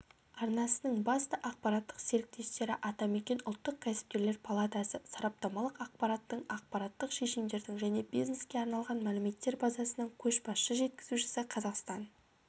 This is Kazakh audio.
арнасының басты ақпараттық серіктестері атамекен ұлттық кәсіпкерлер палатасы сараптамалық ақпараттың ақпараттық шешімдердің және бизнеске арналған мәліметтер базасының көшбасшы жеткізушісі қазақстан